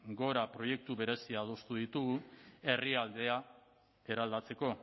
gora proiektu berezia adostu ditugu herrialdea eraldatzeko